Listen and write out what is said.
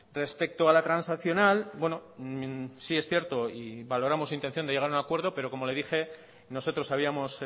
respecto a la transaccional sí es cierto y valoramos su intención de llegar a un acuerdo pero como le dije nosotros habíamos